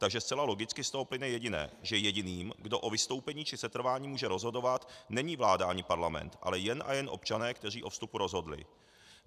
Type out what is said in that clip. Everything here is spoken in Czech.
Takže zcela logicky z toho plyne jediné, že jediným, kdo o vystoupení či setrvání může rozhodovat, není vláda ani Parlament, ale jen a jen občané, kteří o vstupu rozhodli.